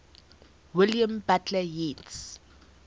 william butler yeats